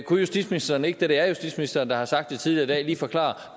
kunne justitsministeren ikke da det er justitsministeren der har sagt det tidligere i dag lige forklare